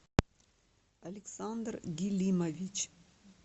александр гилимович